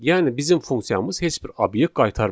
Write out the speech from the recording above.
Yəni bizim funksiyamız heç bir obyekt qaytarmadı.